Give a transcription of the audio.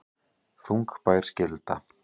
Þungbær skylda